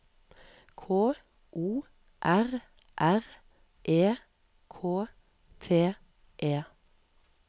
K O R R E K T E